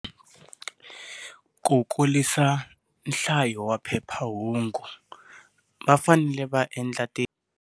Ku kulisa nhlayo wa phephahungu va fanele va endla ti.